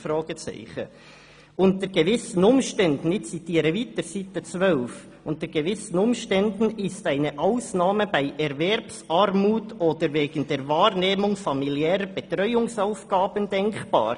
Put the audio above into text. «Unter gewissen Umständen», ich zitiere weiter aus Seite 12 des Vortrags, «ist eine Ausnahme bei Erwerbsarmut oder wegen der Wahrnehmung familiärer Betreuungsaufgaben denkbar.